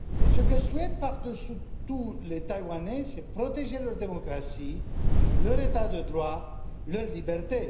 Ce que souhaitent par dessus tout les Taïwanais, c'est protéger leur démocratie, leur état de droit, leur liberté.